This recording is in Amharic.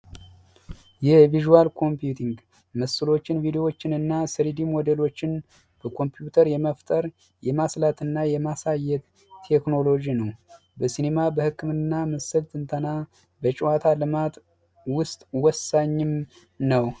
የቪዥዋል ኮምፒውቲንግ ምስሎችን ቪዲዮዎችንና ስሪዲ ሞዴሎችን በኮምፒውተር የመፍጠር የማስላትና የማሳየት ቴክኖሎጂ ነው በሲኒማ በህክምና እና በጨዋታ ልማት ዉስጥ ወሳኝ ነው።